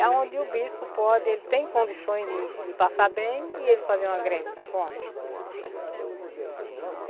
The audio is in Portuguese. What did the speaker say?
É onde o bispo pode, ele tem condições de de passar bem e ele fazer uma greve de fome.